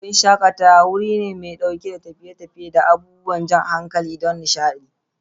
Wurin shakatawa: Wuri mai ɗauke da tafiye-tafiye da abubuwan jan hankali don nishaɗi.